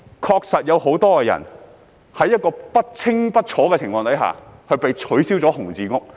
確實有很多人在不清不楚的情況下被取消"紅字屋"。